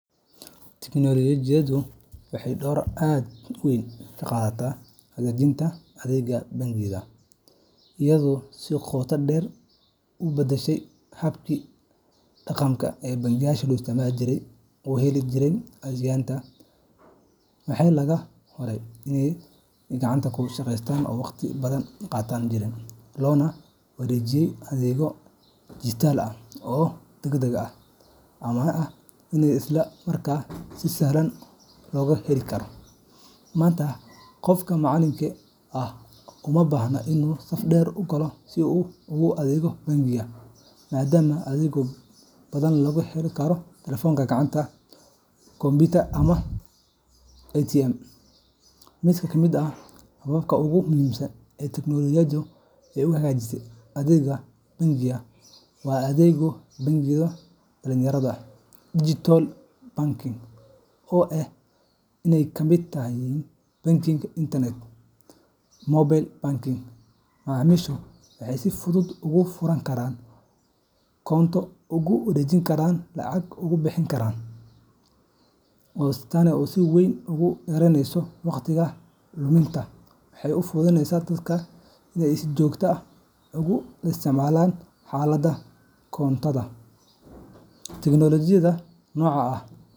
Tignoolajiyaddu waxay door aad u weyn ka qaadatay hagaajinta adeega bangiyada, iyadoo si qoto dheer u beddeshay habkii dhaqameed ee macaamiishu u heli jireen adeegyada maaliyadeed. Waxaa laga guuray nidaamyo gacanta ku shaqeeya oo waqtiga badan qaadan jiray, loona wareegay adeegyo dhijitaal ah oo degdeg ah, ammaan ah, isla markaana si sahlan loo heli karo. Maanta, qofka macaamilka ah uma baahna inuu saf dheer u galo si uu uga adeego bangiga, maadaama adeegyo badan laga heli karo taleefanka gacanta, kombiyuutar ama ATM.Mid ka mid ah hababka ugu muhiimsan ee tignoolajiyadda u hagaajisay adeegyada bangiyada waa adeegyada bangiyada dhijitaalka ah digital banking, oo ay ka mid yihiin bankiga internetka iyo mobile banking. Macaamiishu waxay si fudud uga furan karaan koonto, uga wareejin karaan lacag, uga bixin karaan biilasha, xitaa uga codsan karaan amaah iyadoo aanay booqanaynin bangiga. Tani waxay si weyn u yaraysay waqtiga la lumiyo, waxayna u fududeysay dadka inay si joogto ah ula socdaan xaaladda koontadooda. Tignoolajiyadda noocan ah.